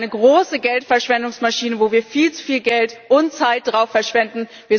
Ich denke, sie sind eine große Geldverschwendungsmaschine, auf die wir viel zu viel Geld und Zeit verschwenden.